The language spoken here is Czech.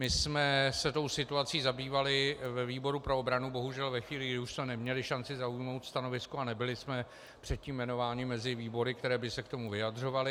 My jsme se tou situací zabývali ve výboru pro obranu bohužel ve chvíli, kdy už jsme neměli šanci zaujmout stanovisko, a nebyli jsme předtím jmenováni mezi výbory, které by se k tomu vyjadřovaly.